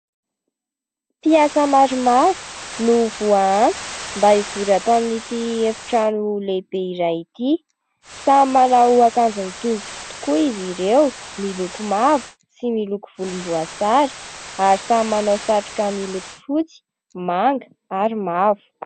Mpiasa maromaro no voa antso mba hivory atao amin'ity efi-trano lehibe iray ity. Samy manao ankanjo mitovy tokoa izy ireo, miloko mavo sy miloko volomboasary, ary samy manao satroka miloko fotsy, manga, ary mavo.